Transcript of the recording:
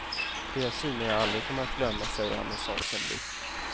Det är syner jag aldrig kommer att glömma, säger han med sorgsen blick.